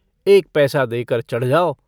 एक पैसा देकर चढ़ जाओ।